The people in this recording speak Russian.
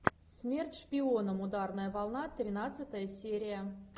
смерть шпионам ударная волна тринадцатая серия